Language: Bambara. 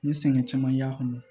N ye sɛgɛn caman y'a kɔnɔ